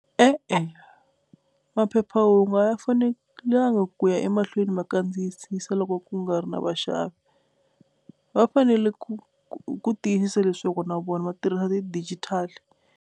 E-e maphephahungu a ya fanelanga ku ya emahlweni ma kandziyisisa loko ku nga ri na vaxavi va fanele ku ku tiyisisa leswaku na vona va tirhisa ti-digital.